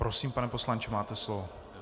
Prosím, pane poslanče, máte slovo.